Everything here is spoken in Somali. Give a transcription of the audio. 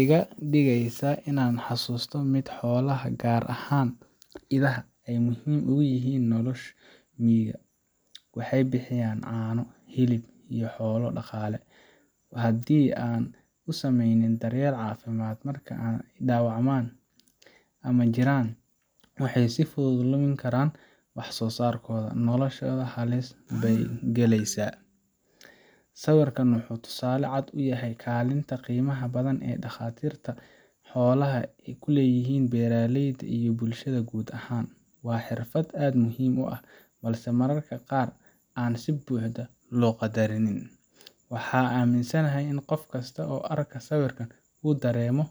iga dhigeysaa inaan xasuusto sida xoolaha, gaar ahaan idaha, ay muhiim ugu yihiin nolosha miyiga waxay bixiyaan caano, hilib iyo xoolo dhaqaale. Haddii aanan u sameynin daryeel caafimaad marka ay dhaawacmaan ama jiran, waxay si fudud u lumin karaan wax soosaarkooda, noloshooda halis bay galeysaa. Sawirkan wuxuu tusaale cad u yahay kaalinta qiimaha badan ee dhakhaatiirta xoolaha ku leeyihiin beeraleyda iyo bulshada guud ahaan. Waa xirfad aad u muhiim ah, balse mararka qaar aan si buuxda loo qaddarin. Waxaan aaminsanahay in qof kasta oo arka sawirkan uu dareemo